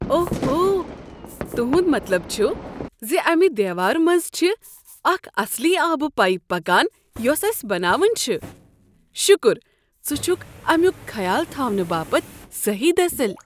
اوہو، تہنٛد مطلب چھُ ز امہِ ھ دیوارٕ منٛزِ چھِ اکھ اصلی آبہٕ پایپ پکان یۄس اسہ بناوٕنۍ چھِ۔ شُکر ژٕ چھُكھ امیُک خیال تھاونہٕ باپتھ صٔحیٖح دٔسِل۔